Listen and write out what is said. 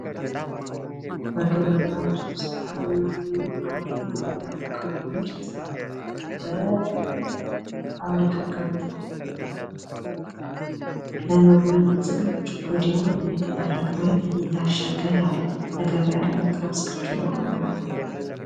በግብርና ምርት ዉስጥ ከምናገኘዉ አንዱ የሆነዉ የአቮካዶ ምርት በፋብሪካ ገብቶ ለምግብነት ዝግጁ እንዲሆን እየተደረገ ወይም እየታሸገ ያለ ለገበያ ለመቅረብ ዝግጁ የሆነ አትክልት።